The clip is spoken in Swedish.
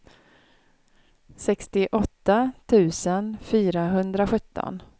sextioåtta tusen fyrahundrasjutton